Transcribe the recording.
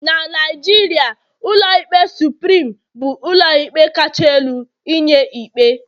na Naijiria, ụlọikpe supirim bu ụlọikpe kacha elu inye ikpe